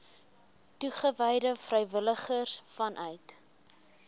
toegewyde vrywilligers vanuit